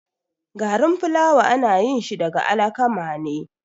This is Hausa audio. Garin fulawa anayinshi daga alakama ne